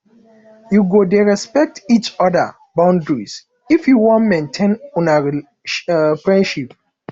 you go dey respect each oda boundaries if you wan maintain una friendship